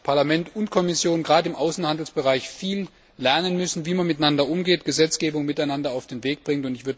Beide Seiten, Parlament und Kommission, werden wir gerade im Außenhandelsbereich lernen müssen, wie man miteinander umgeht und Gesetzgebungen miteinander auf den Weg bringt.